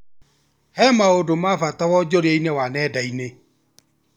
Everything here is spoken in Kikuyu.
He maũndũ ma bata wonjoria-inĩ wa nenda-inĩ